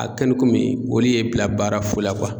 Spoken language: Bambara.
A kɛli komi olu ye bila baara fu la